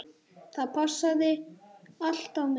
Það passaði allt á mig.